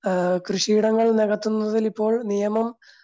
അഹ് കൃഷിയിടങ്ങൾ നെകത്തുന്നതിൽ ഇപ്പോ നിയമം